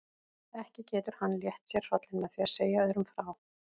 Ekki getur hann létt sér hrollinn með því að segja öðrum frá.